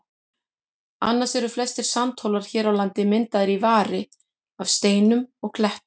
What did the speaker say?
Annars eru flestir sandhólar hér á landi myndaðir í vari af steinum og klettum.